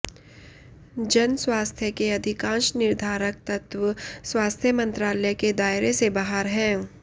जन स्वास्थ्य के अधिकांश निर्धारक तत्त्व स्वास्थ्य मंत्रालय के दायरे से बाहर हैं